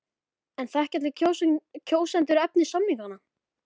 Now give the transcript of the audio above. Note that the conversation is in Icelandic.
En þekkja allir kjósendur efni samninganna?